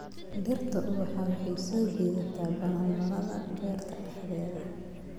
Dhirta ubaxa waxay soo jiidataa balanbalada beerta dhexdeeda.